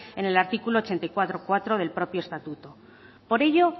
en el artículo ochenta y cuatro punto cuatro del propio estatuto por ello